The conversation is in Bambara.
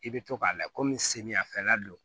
I bɛ to k'a la kɔmi samiyɛfɛla don